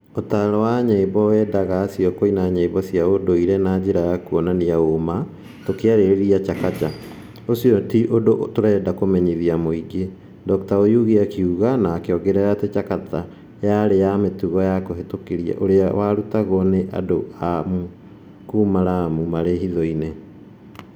ũtaaro wa nyĩmbo weendaga acio kũina nyĩmbo cia ũndũire na njĩra ya kũonania ũũma, tũkĩarĩrĩria Chakacha, ũcio ti ũndũ tũrenda kũmenyithia mũingĩ, Dr Oyugi akiuga na akĩongerera atĩ Chakacha yarĩ ya mũtugo wa kũhĩtũkĩra ũrĩa warũtagwo nĩ andũ a Amu kuuma Lamu marĩ hiitho-inĩ.